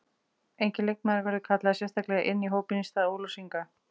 Enginn leikmaður verður kallaður sérstaklega inn í hópinn í stað Ólafs Inga.